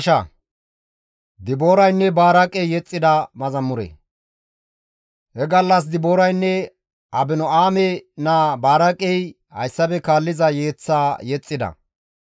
He gallas Dibooraynne Abino7aame naa Baraaqey hayssafe kaalliza yeththaa yexxida.